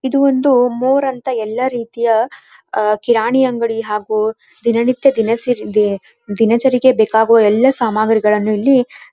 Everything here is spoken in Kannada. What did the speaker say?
ಇದು ಒಂದು ಮೋರ್ ಅಂತ ಎಲ್ಲ ರೀತಿಯ ಕಿರಾಣಿ ಅಂಗಡಿ ಹಾಗು ದಿನ ನಿತ್ಯ ದಿನಚರಿಗೆ ಬೇಕಾಗುವ ಎಲ್ಲ ಸಾಮಗ್ರಿಗಳನ್ನು ಇಲ್ಲಿ --